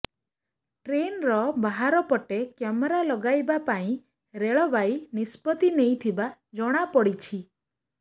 ଟ୍ରେନ୍ର ବାହାର ପଟେ କ୍ୟାମେରା ଲଗାଇବା ପାଇଁ ରେଳବାଇ ନିଷ୍ପତ୍ତି ନେଇଥିବା ଜଣା ପଡ଼ିଛି